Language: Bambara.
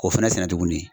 O fɛnɛ sɛnɛ tuguni